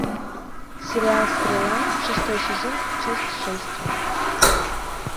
сериал стрела шестой сезон часть шесть